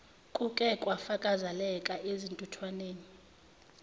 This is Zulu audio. kuke kwafakazeleka ezintuthukweni